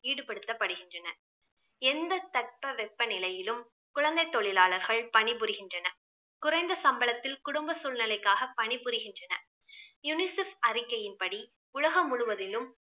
ஈடுபடுத்தப்படுகின்றனர். எந்த தட்பவெப்ப நிலையிலும் குழந்தை தொழிலாளர்கள் பணி புரிகின்றனர் குறைந்த சம்பளத்தில் குடும்ப சூழ்நிலைக்காக பணி புரிகின்றனர் UNICEF அறிக்கையின் படி உலகம் முழுவதிலும்